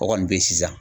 O kɔni bɛ sisan